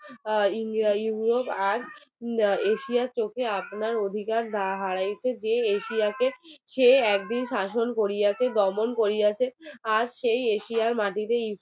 এশিয়ার চোখে আপনার অধিকার হারাইছে যে এশিয়াকে সে একদিন শাসন করিবে দমন করিয়াছে আজ সেই এশিয়ার মাটিতেই